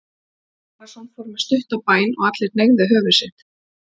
Jón Arason fór með stutta bæn og allir hneigðu höfuð sitt.